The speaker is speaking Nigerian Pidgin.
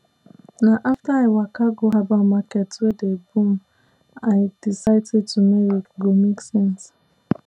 na after i waka go herbal market wey dey boom i decide say turmeric go make sense